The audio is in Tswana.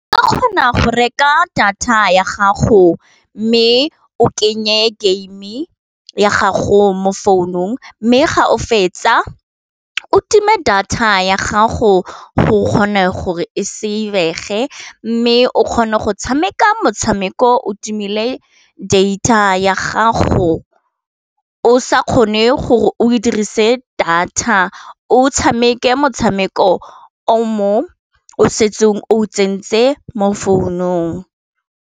Ke kgona go reka data ya gago mme o kenye game ya gago mo founung, mme ga o fetsa o time data ya gago o kgone gore e se save mme o kgona go tshameka motshameko o timile data ya gago o sa kgone gore o dirise data o tshameke motshameko o mo o setsong o tsentse mo founung.